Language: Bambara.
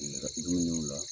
Yɛrɛladigew ɲe u la